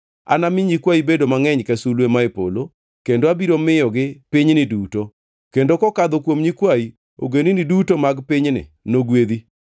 Anami nyikwayi bed mangʼeny ka sulwe mae polo kendo abiro miyogi pinyni duto, kendo kokadho kuom nyikwayi, ogendini duto mag pinyni nogwedhi.